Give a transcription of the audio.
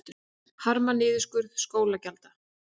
Harma niðurskurð sóknargjalda